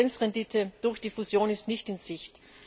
Eine Effizienzrendite durch die Fusion ist nicht in Sicht.